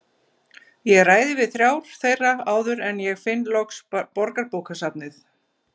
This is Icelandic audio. Ég ræði við þrjá þeirra áður en ég finn loks Borgarbókasafnið.